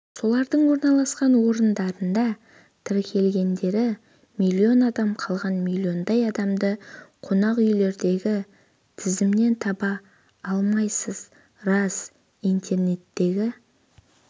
солардың орналасқан орындарында тіркелгендері миллион адам қалған миллиондай адамды қонақүйлердегі тізімнен таба алмайсыз рас интернеттегі